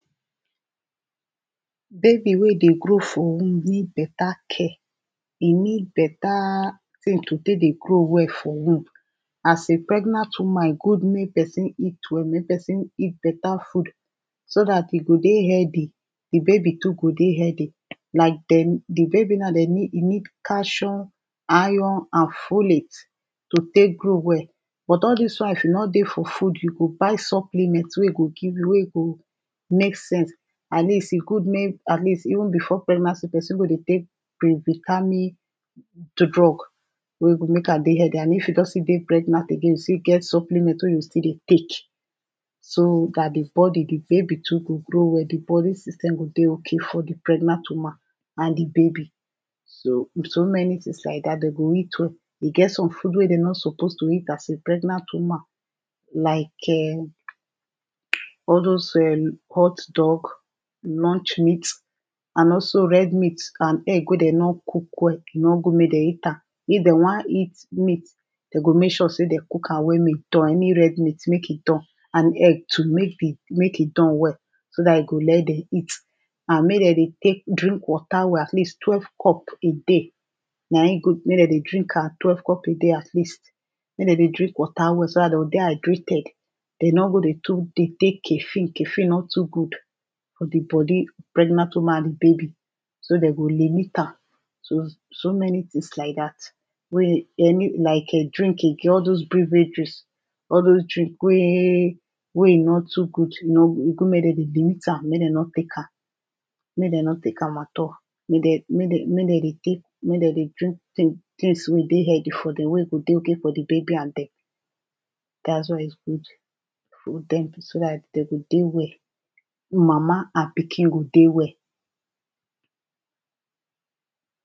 Baby wey dey grow for womb need better care e need better tin to take dey grow well for womb, as a pregnant woman e good make person eat well make person eat better food. so dat e go dey healthy, di baby too go dey healthy, like dem di baby now you need calcium, iron, and pholate. to take grow well, but all dis one if e nor dey for food you go buy supplement wey e go give you wey e go make sense, atleast e good make atleast before pregnancy person go dey take previtamin drug wey e go make am dey healthy, and e fit don still dey pregnant again e still get some supliment wen e go still dey take. so dat di body di baby too go grow well, di body system go dey okay for di pregnant woman and di baby. so so many things like dat, and dem need to eat well e get some food wen dem nor suppose to eat as a pregnant woman. like um all those um hotdog lunch meat. and also red meat and egg when dem nor cook well, e nor good make dem eat am if dem wan eat meat, dem go make sure sey dem cook am well make e don any red meat make e done. and egg too make e don well, so dat e let dem eat, and make dem dey take drink water well atleast twelve cup a day na im good make dem dey drink am twelve cup a day atleast. make dem dey drink water well so dem go dey hydrated, dem no go dey too dey take caffine caffine nor to good for di body pregnant woman and di baby, so dem go limit am. so so many things like dat. wey um any like um drink again all those beverages, all those drink wey wey e nor too good e nor e good make dem dey limit am make dem nor take am make dem nor take am at all, make dem make dem dey take make dem dey drink things things wey e dey healthy for dem wen go dey okay for di baby and dem. dat is what is good. so dat dem go dey well, mama and pikin go dey well.